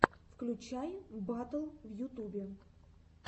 включай батл в ютубе